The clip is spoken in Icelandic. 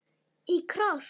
Í kross.